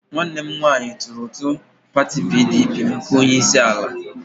Nwanne m nwanyi turu utu pati PDP maka onyeisiala.